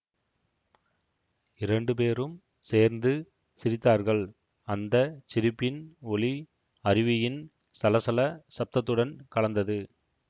இரண்டு பேரும் சேர்ந்து சிரித்தார்கள் அந்த சிரிப்பின் ஒலி அருவியின் சலசல சப்தத்துடன் கலந்தது